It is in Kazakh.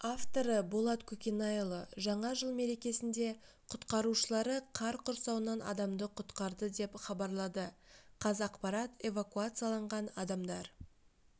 авторы болат көкенайұлы жаңа жыл мерекесінде құтқарушылары қар құрсауынан адамды құтқарды деп хабарлады қазақпарат эвакуацияланған адамдар